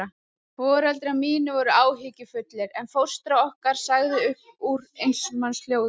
Foreldrar mínir voru áhyggjufullir, en fóstra okkar sagði upp úr eins manns hljóði